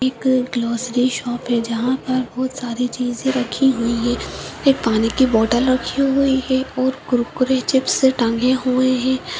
एक grocery shop है जहाँ पर बहोत सारी चीज़े रखी हुई हैं एक पानी की बोटल रखी हुई है और कुरकुरे चिप्स टंगे हुए हैं।